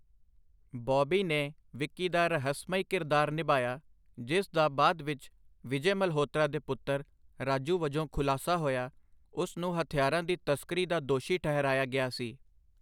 ਬੌਬੀ ਨੇ ਵਿੱਕੀ ਦਾ ਰਹੱਸਮਈ ਕਿਰਦਾਰ ਨਿਭਾਇਆ, ਜਿਸ ਦਾ ਬਾਅਦ ਵਿੱਚ ਵਿਜੇ ਮਲਹੋਤਰਾ ਦੇ ਪੁੱਤਰ, ਰਾਜੂ ਵਜੋਂ ਖੁਲਾਸਾ ਹੋਇਆ, ਉਸ ਨੂੰ ਹਥਿਆਰਾਂ ਦੀ ਤਸਕਰੀ ਦਾ ਦੋਸ਼ੀ ਠਹਿਰਾਇਆ ਗਿਆ ਸੀ।